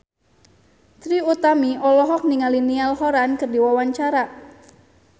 Trie Utami olohok ningali Niall Horran keur diwawancara